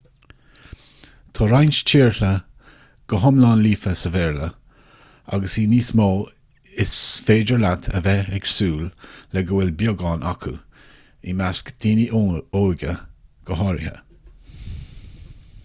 tá roinnt tíortha go hiomlán líofa sa bhéarla agus i níos mó is féidir leat a bheith ag súil le go bhfuil beagán acu i measc daoine óga ach go háirithe